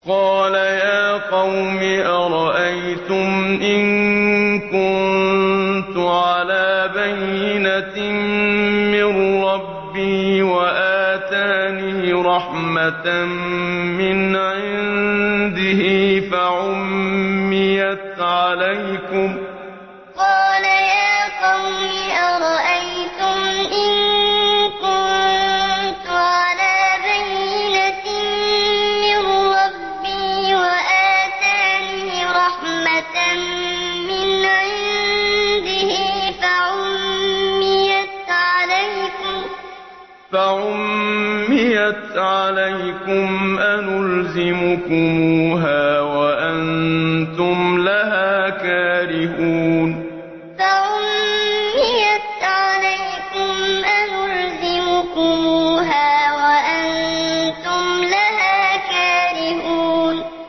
قَالَ يَا قَوْمِ أَرَأَيْتُمْ إِن كُنتُ عَلَىٰ بَيِّنَةٍ مِّن رَّبِّي وَآتَانِي رَحْمَةً مِّنْ عِندِهِ فَعُمِّيَتْ عَلَيْكُمْ أَنُلْزِمُكُمُوهَا وَأَنتُمْ لَهَا كَارِهُونَ قَالَ يَا قَوْمِ أَرَأَيْتُمْ إِن كُنتُ عَلَىٰ بَيِّنَةٍ مِّن رَّبِّي وَآتَانِي رَحْمَةً مِّنْ عِندِهِ فَعُمِّيَتْ عَلَيْكُمْ أَنُلْزِمُكُمُوهَا وَأَنتُمْ لَهَا كَارِهُونَ